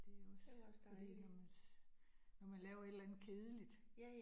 Det også fordi når man, når man laver et eller andet kedeligt